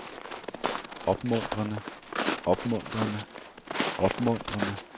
opmuntrende opmuntrende opmuntrende